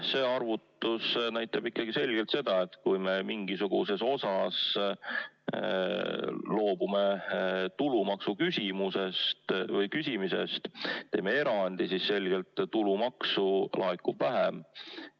See arvutus näitab ikkagi seda, et kui me mingisuguses osas loobume tulumaksu küsimisest, teeme erandi, siis selgelt tulumaksu laekub vähem.